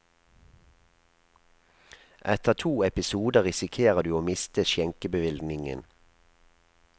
Etter to episoder risikerer du å miste skjenkebevillingen.